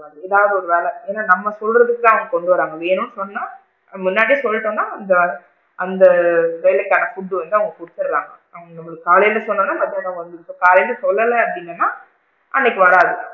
ஏதாவது ஒரு வேளை ஏன்னா? நம்ம சொல்றதுக்கு தான் அவுங்க கொண்டு வராங்க ஏன்னா சொன்னா முன்னாடியே சொல்லிட்டோம்னா அந்த வேளை correct டா food டு வந்து அவுங்க குடுத்திடுறாங்க அவுங்க நம்மளுக்கு காலைல சொன்னா மதியம் வந்திடும் காலைல சொல்லல அப்படின்னா அன்னைக்கு வராது,